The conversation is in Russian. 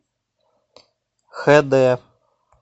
хд